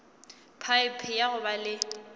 phaephe ya go ba le